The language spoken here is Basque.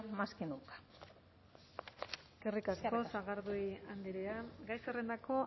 más que nunca eskerrik asko sagardui andrea gai zerrendako